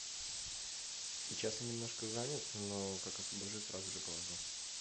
сейчас я немножко занят но как освобожусь сразу же положу